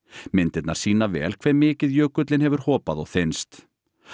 myndirnar sýna vel hve mikið jökullinn hefur hopað og þynnst